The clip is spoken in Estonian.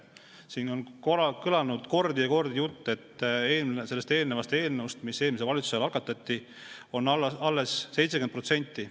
Siin on kõlanud kordi ja kordi jutt, et sellest eelnõust, mis eelmise valitsuse ajal algatati, on alles 70%.